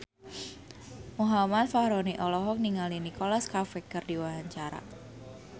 Muhammad Fachroni olohok ningali Nicholas Cafe keur diwawancara